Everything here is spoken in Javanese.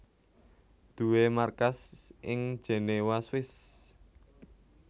duwé markas ing Jenewa Swiss